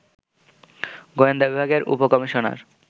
গোয়েন্দা বিভাগের উপ কমিশনার